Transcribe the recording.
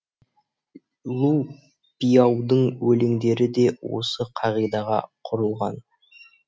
лу пиаудың өлеңдері де осы қағидаға құрылған